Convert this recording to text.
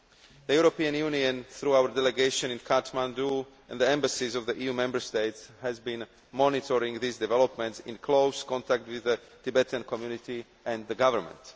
The European Union, through its delegation in Kathmandu and the embassies of the EU Member States, has been monitoring these developments in close contact with the Tibetan community and the government.